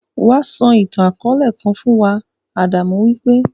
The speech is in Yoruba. Wá sọ ìtàn-akọọlẹ kan fún wa; Adamu wí pé.